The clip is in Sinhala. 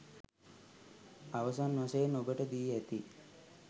අවසන් වශයෙන් ඔබට දී ඇති